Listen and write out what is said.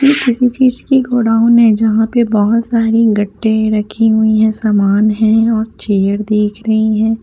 ये किसी चिज की गोडाउन है जहां पर बहुत सारे गट्टे रखे हुई हैं सामान हैं और चेयर देख रहीं है।